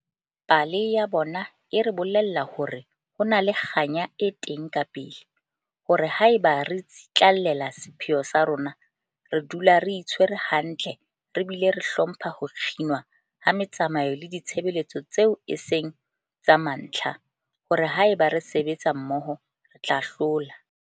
Pale ya bona e re bolella hore ho na le kganya e teng kapele, hore haeba re tsitlallela sepheo sa rona, re dula re itshwere hantle re bile re hlompha ho kginwa ha metsamao le ditshebeletso tseo e seng tsa mantlha, hore haeba re sebetsa mmoho, re tla hlola.